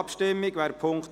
Abstimmung (Ziff.